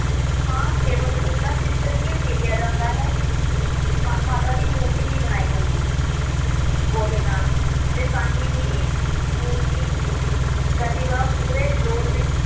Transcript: ਦੀ ਥਾਂ ਕੇਵਲ ਉਸਦਾ ਚਿੱਤਰ ਹੀ ਉਕੀਲਿਆ ਜਾਂਦਾ ਹੈ, ਮਾ ਮਾਤਾ ਦੀ ਮੂਰਤੀ ਨਹੀਂ ਬਣਾਈ ਜਾਂਦੀ ਗੋਹੇ ਨਾਲ ਤੇ ਸਾਂਝੀ ਦੀ ਮੂਰਤੀ ਪ੍ਰਤਿਭਾ ਪੂਰੇ ਜਲੋਲ ਵਿੱਚ